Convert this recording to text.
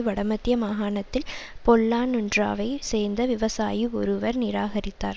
வடமத்திய மாகாணத்தில் பொல்லான்னுன்றாவை சேர்ந்த விவசாயி ஒருவர் நிராகரித்தார்